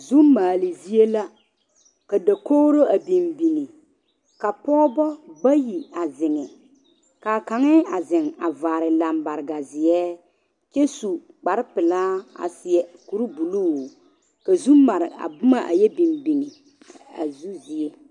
Zu maale zie la ka dakogiro a biŋ biŋ ka pɔgebɔ bayi a zeŋ, ka a kaŋa a zeŋ a vaare lambareka zeɛ kyɛ su kpare pelaa a seɛ kuri buluu ka zu mare boma a yɛ biŋ biŋ a zu zie.